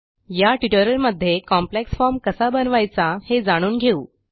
या ट्युटोरियलमध्ये complex form कसा बनवायचा हे जाणून घेऊ